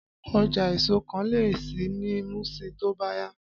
Ọjà èso kan lè ṣí ní Muṣin tó bá yá